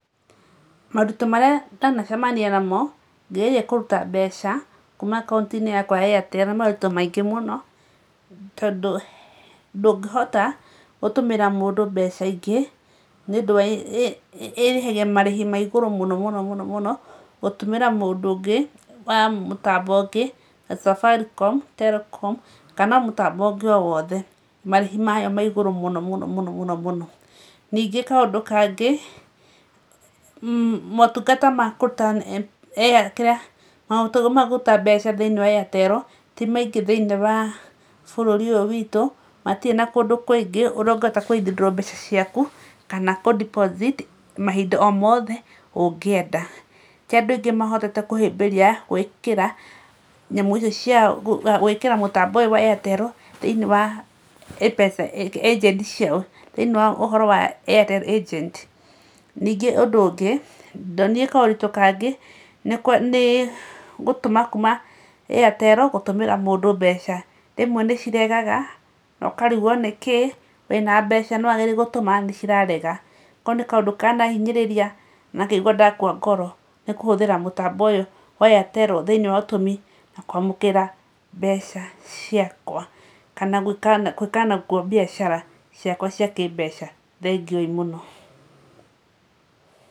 Moritũ marĩa ndanacemania namo ngĩgeria kũruta mbeca kuuma akaunti-inĩ yakwa ya Airtel nĩ moritũ maingĩ mũno, Tondũ ndũngĩhota gũtũmĩra mũndũ mbeca ingĩ nĩ ũndũ wa ĩrĩhagia mũndũ marĩhi na igũrũ mũno mũno, gũtũmĩra mũndũ ũngĩ wa mũtambo ũngĩ ta Safaricom, Telcom, kana mũtambo ũngĩ o wothe. Marĩhi maya ma igũrũ mũno mũno mũno. Ningĩ kaũndũ kangĩ, motungata ma kũruta mbeca thĩinĩ wa Airtel ti maingĩ thĩinĩ wa bũrũri ũyũ witũ. Matirĩ na kũndũ kũingĩ kũrĩa ũngĩhota kũ withdraw mbeca ciaku kana kũ deposit mahinda o mothe ũngĩenda. Ti andũ othe mahotete kũhĩmbĩria gwĩkĩra nyamũ icio ciao gwĩkĩra mũtambo ũyũ wa Airtel thĩinĩ wa agent ciao, thĩinĩ wa Airtel agent. Ningĩ ũndũ ũngĩ ndonire kaũritũ kangĩ nĩ gũtũma kuuma Airtel gũtũmĩra mũndũ mbeca. Rĩmwe nĩ ciregaga na ũkarigũo nĩkĩĩ wĩna mbeca no wageria gũtũma nĩ cirarega. Kau nĩ kaũndũ kanahinyĩriria na ngaigua ndakua ngoro nĩ kũhũthĩra mũtambo ũyũ wa Airtel thĩinĩ wa ũtũmi na kwamũkĩra mbeca ciakwa kana gwĩka naguo biacara ciakwa cia kĩ mbeca. Thengiũ ii mũno.